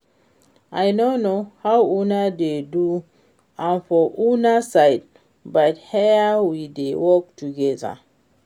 I no know how una dey do am for una side but here we dey work together